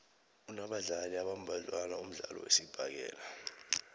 unabadlali abambadlwana umdlalo wesibhakela